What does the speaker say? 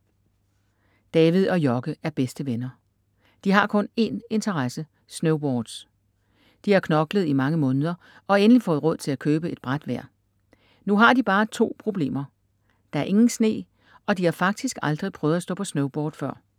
David og Jocke er bedste venner. De har kun én interesse: Snowboards. De har knoklet i mange måneder og endelig fået råd til at købe et bræt hver. Nu har de bare to problemer: der er ingen sne og de har faktisk aldrig prøvet at stå på snowboard før.